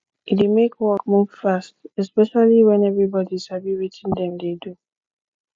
e dey make work move fast especially when everybody sabi wetin dem dey do